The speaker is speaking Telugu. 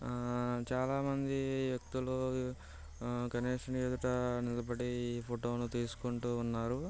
ఆ చాలామంది వ్యక్తులు గణేష్ ని ఎదుట నిలబడి ఫోటోలు తీసుకుంటూ ఉన్నారు.